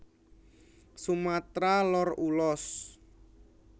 Sumatra Lor Ulos